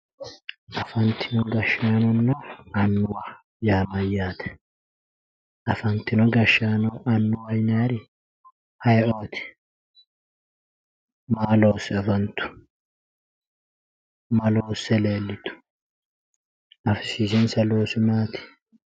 Afantino gashshaanonna annuwa yaa mayyaate afantino gashshaano annuwa yinayri aye"ooti maa loosse afantanno ma loosse leellitao afisiisinsa oosi maati